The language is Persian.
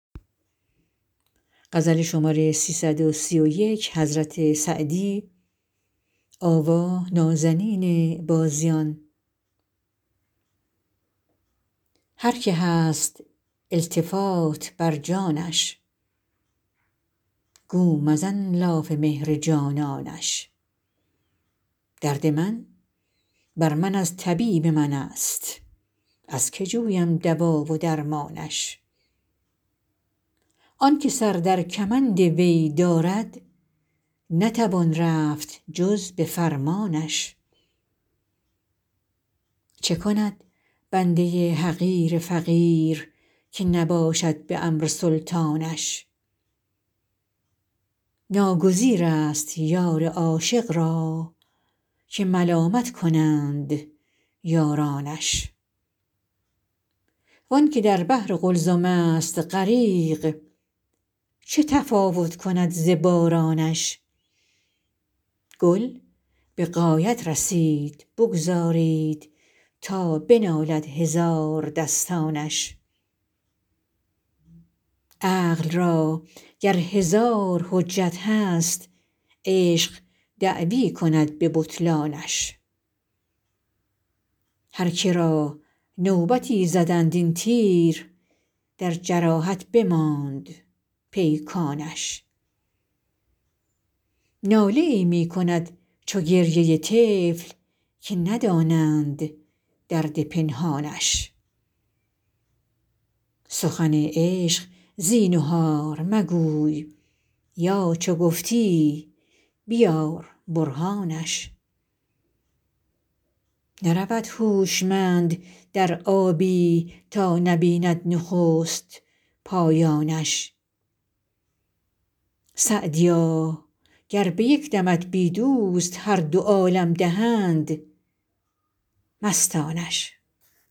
هر که هست التفات بر جانش گو مزن لاف مهر جانانش درد من بر من از طبیب من است از که جویم دوا و درمانش آن که سر در کمند وی دارد نتوان رفت جز به فرمانش چه کند بنده حقیر فقیر که نباشد به امر سلطانش ناگزیر است یار عاشق را که ملامت کنند یارانش وآن که در بحر قلزم است غریق چه تفاوت کند ز بارانش گل به غایت رسید بگذارید تا بنالد هزاردستانش عقل را گر هزار حجت هست عشق دعوی کند به بطلانش هر که را نوبتی زدند این تیر در جراحت بماند پیکانش ناله ای می کند چو گریه طفل که ندانند درد پنهانش سخن عشق زینهار مگوی یا چو گفتی بیار برهانش نرود هوشمند در آبی تا نبیند نخست پایانش سعدیا گر به یک دمت بی دوست هر دو عالم دهند مستانش